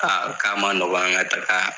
Aa k'a ma nɔgɔ an ka taaga.